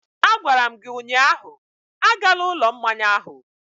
A gwara m gi ụnyahụ, agala ụlọ mmanya ahụ!